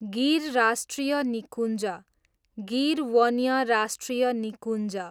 गिर राष्ट्रिय निकुञ्ज, गिर वन्य राष्ट्रिय निकुञ्ज